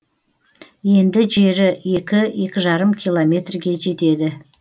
енді жері екі екі жарым километрге жетеді